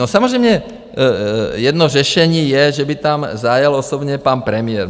No samozřejmě jedno řešení je, že by tam zajel osobně pan premiér.